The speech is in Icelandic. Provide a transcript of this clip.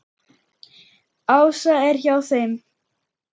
Ása er hjá þeim.